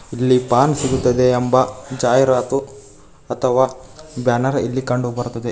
ಇಲ್ಲಿ ಪಾನ್ ಸಿಗುತ್ತದೆ ಎಂದು ಜಾಹೀರಾತು ಅಥವಾ ಬ್ಯಾನರ್ ಇಲ್ಲಿ ಕಂಡು ಬರ್ತದೆ.